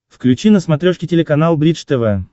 включи на смотрешке телеканал бридж тв